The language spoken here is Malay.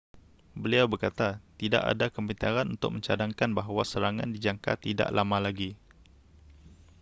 beliau berkata tidak ada kepintaran untuk mencadangkan bahawa serangan dijangka tidak lama lagi